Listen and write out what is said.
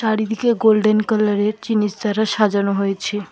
চারিদিকে গোল্ডেন কালারের জিনিস দ্বারা সাজানো হয়েছে।